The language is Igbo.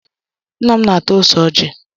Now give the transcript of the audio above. Nna m na-ata ose ọjị.